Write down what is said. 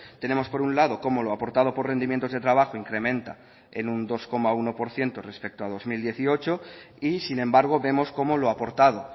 tenemos por un lado cómo lo aportado por rendimientos de trabajo incrementa en un dos coma uno por ciento respecto a dos mil dieciocho y sin embargo vemos cómo lo aportado